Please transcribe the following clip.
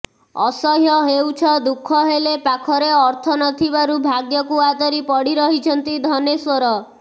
ଅସହ୍ୟ ହେଉଛ ଦୁଃଖ ହେଲେ ପାଖରେ ଅର୍ଥ ନଥିବାରୁ ଭାଗ୍ୟକୁ ଆଦରି ପଡି ରହିଛନ୍ତି ଧନେଶ୍ୱର